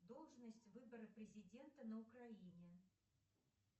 должность выбора президента на украине